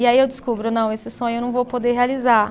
E aí eu descubro, não, esse sonho eu não vou poder realizar.